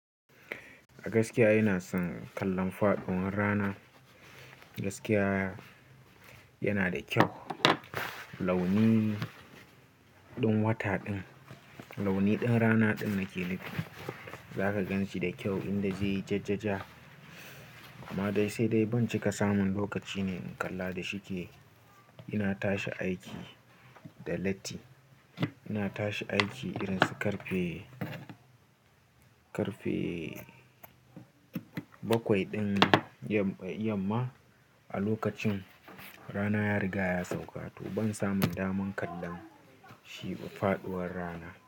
A gaskiya ina son kallon faɗuwar rana. Gaskiya yana da kyau launin ɗin wata ɗin, launi ɗin rana ɗin nake nufi. Zaka gan shi da kyau inda je ye jajjaja amma dai sai dai ban cika samun lokaci ne in kalla da shike. Ina tashi aiki da latti, ina tashi aiki irin su karfe, karfe bakwai ɗin yamma. A lokacin rana ya riga ya sauƙa to ban samun daman kallon shi faɗuwar rana.